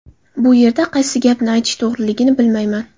Bu yerda qaysi gapni aytish to‘g‘riligini bilmayman.